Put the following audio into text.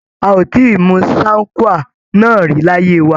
A ò tíì mu sine qua non rí láyé wa.